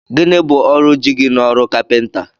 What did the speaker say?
Gịnị bụ ọrụ jigi n'ọrụ kapinta?